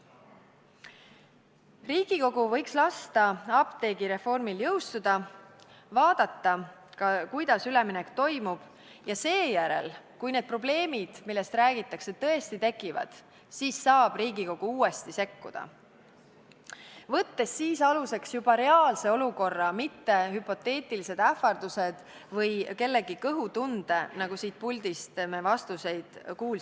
Riigikogu võiks lasta apteegireformil jõustuda, vaadata, kuidas üleminek toimub, ja seejärel, kui need probleemid, millest räägitakse, tõesti tekivad, siis saab Riigikogu uuesti sekkuda, võttes aluseks juba reaalse olukorra, mitte hüpoteetilised ähvardused või kellegi kõhutunde, millele siit puldist vastuseid andes on viidatud.